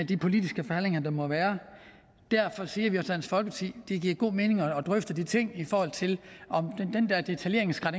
de politiske forhandlinger der må være derfor siger vi hos dansk folkeparti det giver god mening at drøfte de ting i forhold til om den der detaljeringsgrad